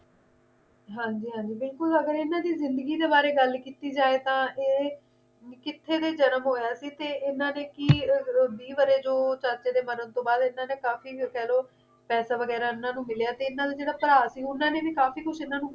ਹਾਂ ਜੀ ਹਾਂ ਜੀ ਬਿਲਕੁਲ ਅਗਰ ਇਨ੍ਹਾਂ ਦੀ ਜਿੰਦਗੀ ਦੇ ਬਾਰੇ ਗੱਲ ਕੀਤੀ ਜਾਈ ਤਾਂ ਏ ਕਿੱਥੇ ਦਾ ਜਨਮ ਹੋਇਆ ਸੀ ਤੇ ਇਨ੍ਹਾਂ ਦੇ ਕੀ ਵੀਹ ਬਾਰੇ ਜੋ ਚਾਚੇ ਦੇ ਮਰਨ ਤੋਂ ਬਾਅਦ ਇਨ੍ਹਾਂ ਦੇ ਕਾਫੀ ਇਨ੍ਹਾਂ ਨੂੰ ਕਹਿ ਲੋ ਪੈਸੇ ਵਗੈਰਾ ਇਨ੍ਹਾਂ ਨੂੰ ਮਿਲਿਆ ਤੇ ਇਨ੍ਹਾਂ ਦਾ ਜਿਹੜਾ ਭਰਾ ਸੀ ਉਨ੍ਹਾਂ ਨੇ ਵੀ ਕਾਫੀ ਕੁਝ ਇਨ੍ਹਾਂ ਨੂੰ